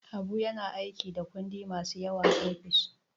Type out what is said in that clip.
Habu na yin aiki da kundi masu yawa a ofis.